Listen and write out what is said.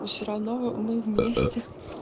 ну все равно в мы вместе